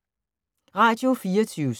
Radio24syv